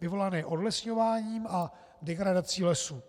vyvolané odlesňováním a degradací lesů."